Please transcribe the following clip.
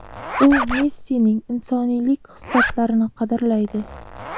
U Messining insoniylik xislatlarini qadrlaydi.